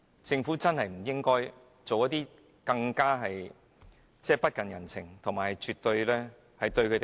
政府實在不應該再作出更加不近人情和辜負他們的決定。